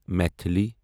Maithili